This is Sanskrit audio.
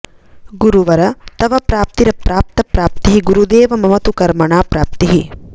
गुरुवर तव प्राप्तिरप्राप्त प्राप्तिः गुरुदेव मम तु कर्मणा प्राप्तिः